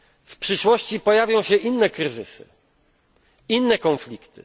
W przyszłości pojawią się inne kryzysy, inne konflikty.